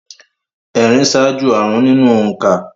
Ẹ̀rin ṣáájú àrụ́n nínú òǹkà